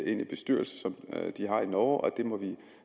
ind i bestyrelser som de har i norge og det må vi